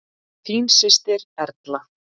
Þín systir, Erla.